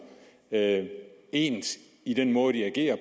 ens i den måde de agerer